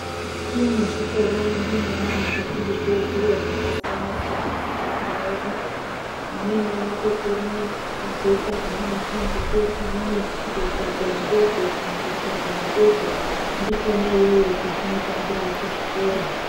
Mukati mwezvikora ndimwona munofundiswa zviro zvakasiyana siyana ngeana edu. Amweni anotokona kuzoita anamakanike, amweni kuzotogadzira ndege kana kuchovha ndege. Ndikwona iyoyo kwazvinotangira kuchikora.